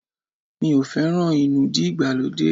Mi ò feran inúdí ìgbàlódé.